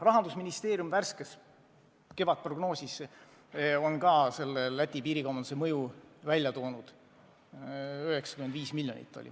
Rahandusministeeriumi värskes kevadprognoosis on ka Läti piirikaubanduse mõju välja toodud: 95 miljonit.